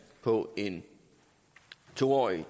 på en to årig